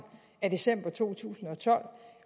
af december to tusind og tolv